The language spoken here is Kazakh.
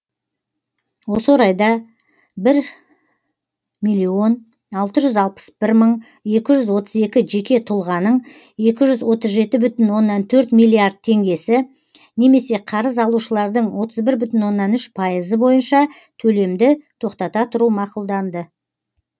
осы орайда бір миллион алты жүз алпыс бір мың екі жүз отыз екі жеке тұлғаныңекі жүз отыз жеті бүтін оннан төртмиллиард теңгесі немесе қарыз алушылардың отыз бір бүтін оннан үш пайызы бойынша төлемді тоқтата тұру мақұлданды